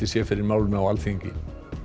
sé fyrir málinu á Alþingi